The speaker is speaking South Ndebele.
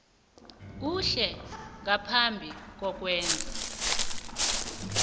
kuhle ngaphambi kokwenza